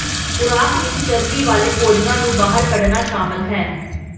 ਖੁਰਾਕ ਵਿਚ ਚਰਬੀ ਵਾਲੇ ਭੋਜਨਾਂ ਨੂੰ ਬਾਹਰ ਕੱਢਣਾ ਸ਼ਾਮਲ ਹੈ